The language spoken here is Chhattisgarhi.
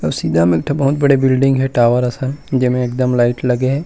अउ सीधा में एक ठ बिल्डिंग हे टावर असन जे में एकदम लाइट लगे हे ।